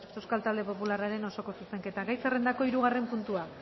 euskal talde popularraren osoko zuzenketa gai zerrendako hirugarren puntua